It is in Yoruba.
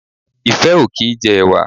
Ìfẹ́ ò kì í jẹ ẹ̀wà